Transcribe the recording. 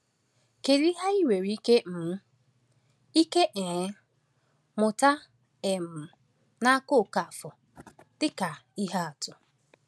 Kedu ihe anyị nwere ike um ike um mụta um n’aka Okafor dịka ihe atụ?